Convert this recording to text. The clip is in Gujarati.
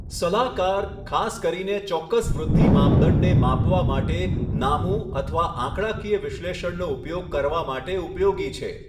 સલાહકાર, ખાસ કરીને ચોક્કસ વૃદ્ધિ માપદંડને માપવા માટે નામું અથવા આંકડાકીય વિશ્લેષણનો ઉપયોગ કરવા માટે ઉપયોગી છે.